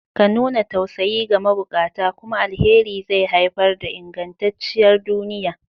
Ka nuna tausayi ga mabukata, kuma alheri zai haifar da ingantacciyar duniya.